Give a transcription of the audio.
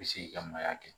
I bɛ se ki ka mayya kɛ